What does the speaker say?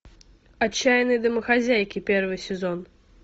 отчаянные домохозяйки первый сезон